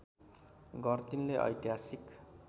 गर्टिनले ऐतिहासिक